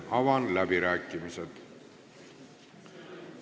Avan läbirääkimised.